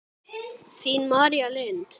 Þín, María Lind.